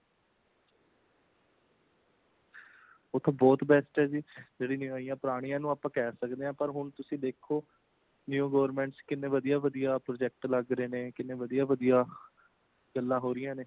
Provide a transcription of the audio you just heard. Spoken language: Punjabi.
ਉਹ ਤਾਂ ਬਹੁਤ best ਹੇ ਜੀ ,ਜਿਹੜੀ new ਆਇਆਂ ,ਪੁਰਾਣੀਆਂ ਨੂੰ ਆਸਾ ਕਹਿ ਸਕਦੇ ਹਾਂ |ਪਰ ਹੁਣ ਤੁਸੀਂ ਦੇਖੋ ,new government ਕਿਨੇ ਵਧੀਆਂ, ਵਧੀਆਂ project ਲੱਗ ਰਹੇ ਨੇ, ਕਿਨੇ ਵਧੀਆਂ-ਵਧੀਆਂ ਗੱਲਾਂ ਹੋ ਰਹੀਆਂ ਨੇ